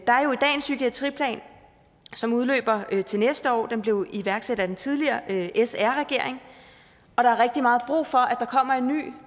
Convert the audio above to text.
psykiatriplan som udløber til næste år den blev iværksat af den tidligere sr regering der er rigtig meget brug for at der kommer en ny